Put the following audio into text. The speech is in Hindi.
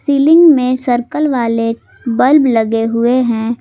सीलिंग में सर्कल वाले बल्ब लगे हुए हैं।